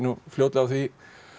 á því